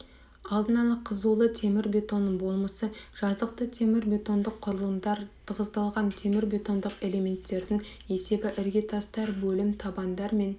алдын ала қызулы темірбетонның болмысы жазықты темірбетондық құрылымдар тығыздалған темірбетондық элементтердің есебі іргетастар бөлім табандар мен